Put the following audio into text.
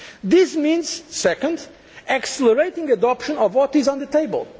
economy. This means secondly accelerating adoption of what is on the